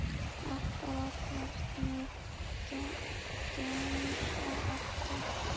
Allt bara Hvernig gemsa áttu?